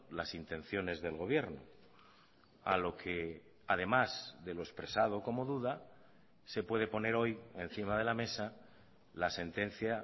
las intenciones del gobierno a lo que además de lo expresado como duda se puede poner hoy encima de la mesa la sentencia